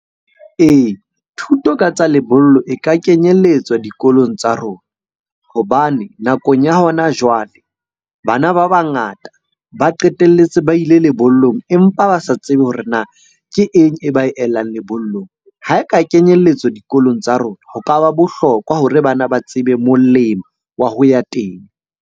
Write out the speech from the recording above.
Ee, thuto ka tsa lebollo e ka kenyelletswa dikolong tsa rona. Hobane nakong ya hona jwale bana ba bangata ba qetelletse ba ile lebollong bolong, empa ba sa tsebe hore na ke eng e ba elang lebollong? Ha e ka kenyelletswa dikolong tsa rona ho kaba bohlokwa hore bana ba tsebe molemo wa ho ya teng.